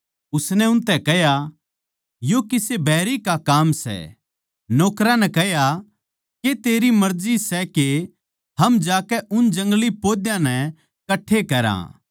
उसनै उनतै कह्या यो किसे बैरी का काम सै नौकरां नै कह्या के तेरी मर्जी सै के हम जाकै उन जंगली पौधां नै कट्ठे करा